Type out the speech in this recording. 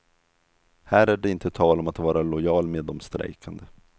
Här är det inte tal om att vara lojal med de strejkande.